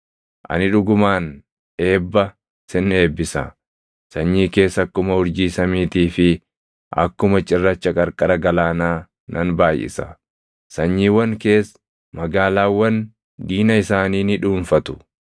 ani dhugumaan eebba, sin eebbisa; sanyii kees akkuma urjii samiitii fi akkuma cirracha qarqara galaanaa nan baayʼisa. Sanyiiwwan kees magaalaawwan diina isaanii ni dhuunfatu.